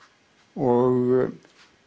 og